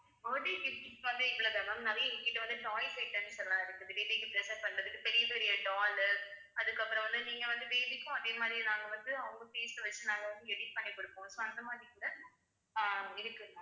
birthday gifts வந்து இவ்ளோ தான் ma'am நிறைய எங்கிட்ட வந்து toys items லாம் இருக்குது baby க்கு present பண்றதுக்கு பெரிய பெரிய doll உ அதுக்கப்புறம் வந்து நீங்க வந்து baby க்கும் அதே மாரி நாங்க வந்து அவங்க face a வச்சு நாங்க வந்து edit பண்ணி குடுப்போம் so அந்த மாரி கூட அஹ் இருக்கு ma'am